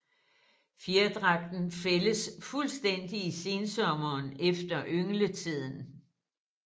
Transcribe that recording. Fjerdragten fældes fuldstændigt i sensommeren efter yngletiden